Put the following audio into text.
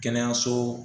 Kɛnɛyaso